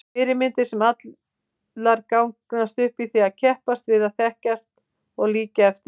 Fyrirmyndir sem allir gangast upp í og keppast við að þekkja og líkja eftir.